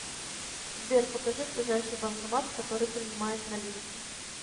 сбер покажи ближайший банкомат который принимает наличку